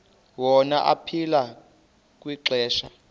wona aphila kwixesha